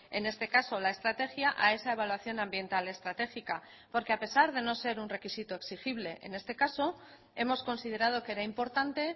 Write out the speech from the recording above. en este caso la estrategia a esa evaluación ambiental estratégica porque a pesar de no ser un requisito exigible en este caso hemos considerado que era importante